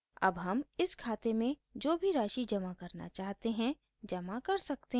अब हम इस खाते में जो भी राशि जमा करना चाहते हैं जमा कर सकते हैं